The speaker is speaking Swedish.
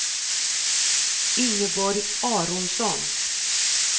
Ingeborg Aronsson